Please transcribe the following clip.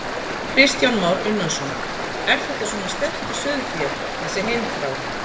Kristján Már Unnarsson: Er þetta svona sterkt í sauðfé, þessi heimþrá?